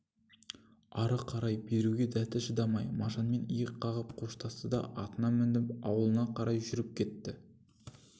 ары қарай беруге дәті шыдамай мажанмен иек қағып қоштасты да атына мініп аулына қарай жүріп кетті